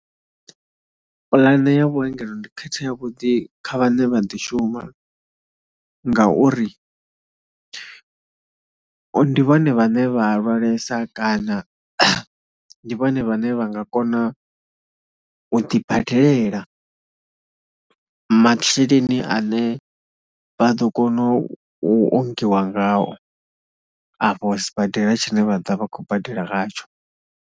Pulane ya vhuongelo ndi kheth yavhuḓi kha vhane vha ḓishuma ngauri ndi vhone vhane vha lwalesa kana ndi vhone vhane vha nga kona u ḓibadelela masheleni ane vha ḓo kona u ongiwa ngao afho sibadela tshine vha ḓa vha khou badela ngatsho.